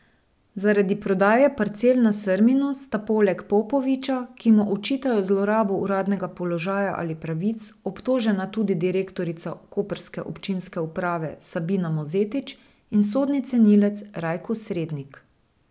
Zaradi prodaje parcel na Srminu sta poleg Popoviča, ki mu očitajo zlorabo uradnega položaja ali pravic, obtožena tudi direktorica koprske občinske uprave Sabina Mozetič in sodni cenilec Rajko Srednik.